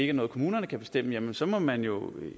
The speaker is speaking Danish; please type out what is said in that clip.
er noget kommunerne kan bestemme jamen så må man jo